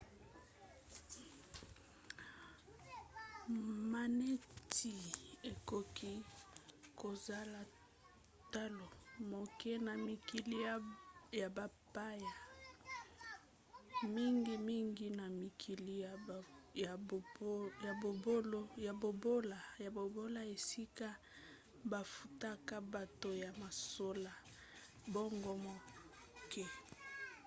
maneti ekoki kozala talo moke na mikili ya bapaya mingimingi na mikili ya bobola esika bafutaka bato ya mosala mbongo moke